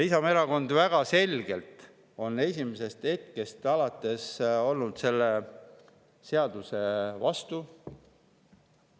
Isamaa Erakond on väga selgelt esimesest hetkest alates olnud selle seaduse vastu.